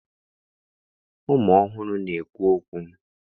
Ụmụ ọhụrụ na-ekwu okwu.